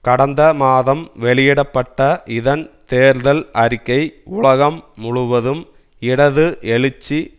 கடந்த மாதம் வெளியிட பட்ட இதன் தேர்தல் அறிக்கை உலகம் முழுவதும் இடது எழுச்சி